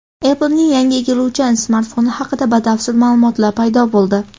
Apple’ning yangi egiluvchan smartfoni haqida batafsil ma’lumotlar paydo bo‘ldi.